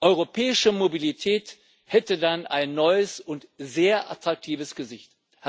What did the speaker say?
Europäische Mobilität hätte dann ein neues und sehr attraktives Gesicht.